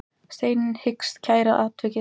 Steinunn hyggst kæra atvikið.